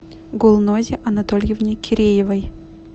гулнозе анатольевне киреевой